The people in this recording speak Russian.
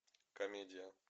комедия